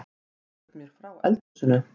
Segðu mér frá eldhúsinu